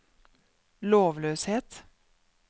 lovløshet